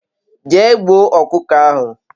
Jee gbuo okuko ahu